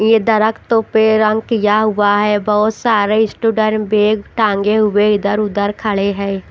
ये दरख्तो पे रंग किया हुआ है बहुत सारे स्टूडर्म बैग टांगे हुए इधर-उधर खड़े हैं।